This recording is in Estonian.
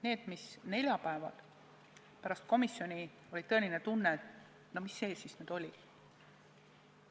Need, mille puhul neljapäeval pärast komisjoni oli tõesti tunne, et no mis see siis nüüd ikkagi oli.